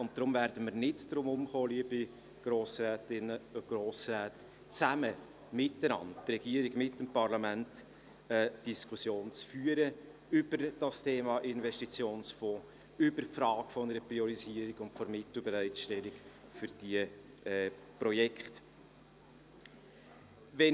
Deshalb werden wir, das Parlament und die Regierung, liebe Grossrätinnen und Grossräte, nicht umhin kommen, gemeinsam die Diskussion über das Thema «Investitionsfonds» und über die Frage einer Priorisierung und Mittelbereitstellung für diese Projekte zu führen.